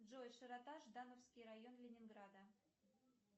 джой широта ждановский район ленинграда